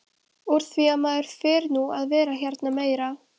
Úr því að maður fer nú að vera hérna meira.